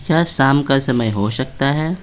क्या शाम का समय हो सकता है।